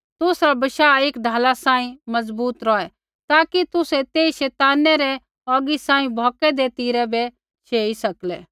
तुसरा बशाह एक ढाला सांही मज़बूत रौहै होर ताकि तुसै तेई शैताना रै औगी सांही भौकदै तिरा बै शेई सकलै